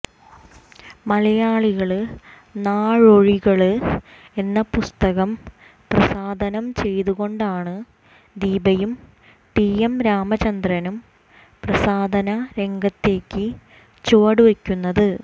മലയാളി നാള്വഴികള് എന്ന പുസ്തകം പ്രസാധനം ചെയ്തുകൊണ്ടാണ് ദീപയും ടി എം രാമചന്ദ്രനും പ്രസാധന രംഗത്തേക്ക് ചുവടുവക്കുന്നത്